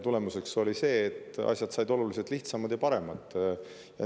Tulemuseks oli see, et asjad saidki oluliselt lihtsamaks ja paremaks.